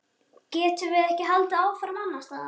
Getum við ekki haldið áfram annars staðar?